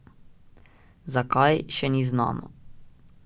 Zakaj, še ni znano.